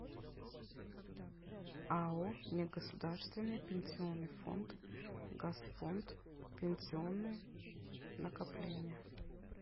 ао негосударственный пенсионный фонд газфонд пенсионные накопления